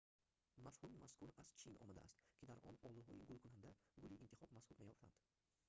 мафҳуми мазкур аз чин омадааст ки дар он олуҳои гулкунанда гули интихоб маҳсуб меёфтанд